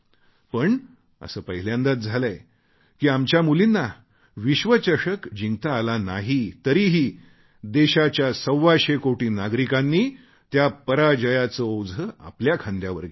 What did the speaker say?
पण असे पहिल्यांदाच झालेय की आमच्या मुलींना विश्वचषक जिंकता आला नाही तरीही देशाच्या सव्वाशे कोटी नागरिकांनी त्या पराजयाचे ओझे आपल्या खांद्यावर घेतले